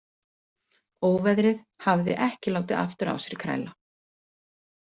Óveðrið hafði ekki látið aftur á sér kræla.